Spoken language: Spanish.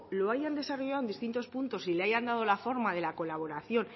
lo hayan desarrollado en distintos puntos y le hayan dado la forma de la colaboración